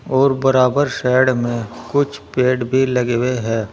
और बराबर साइड में कुछ पेड़ लगे हुए भी है।